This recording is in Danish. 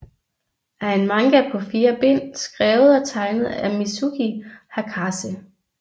er en manga på fire bind skrevet og tegnet af Mizuki Hakase